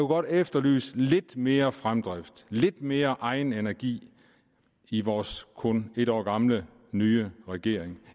godt efterlyse lidt mere fremdrift lidt mere egenenergi i vores kun en år gamle nye regering